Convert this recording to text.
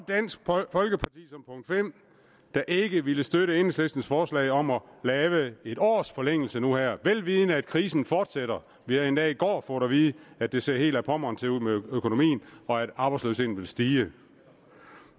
dansk folkeparti der ikke ville støtte enhedslistens forslag om at lave en års forlængelse nu her vel vidende at krisen fortsætter vi har endda i går fået at vide at det ser helt ad pommern til ud med økonomien og at arbejdsløsheden vil stige